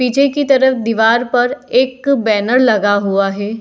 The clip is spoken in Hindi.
पीछे की तरफ दीवार पर एक बैनर लगा हुआ हे।